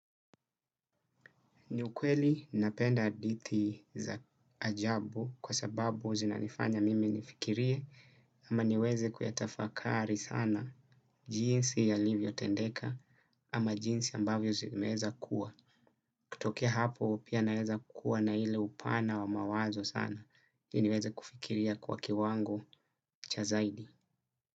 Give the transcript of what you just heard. Ni ukweli, napenda aditi za ajabu kwa sababu zinanifanya mimi nifikirie ama niweze kuyatafakari sana jinsi ya livyo tendeka ama jinsi ambavyo zimeza kuwa. Kutokia hapo pia naweza kuwa na ile upana wa mawazo sana. Niweze kufikiria kwa kiwango cha zaidi.